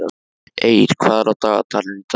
Eir, hvað er á dagatalinu í dag?